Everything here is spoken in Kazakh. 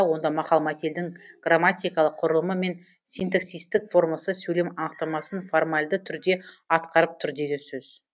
онда мақал мәтелдің грамматикалық құрылымы мен синтаксистік формасы сөйлем анықтамасын формальды түрде атқарып тұр деген сөз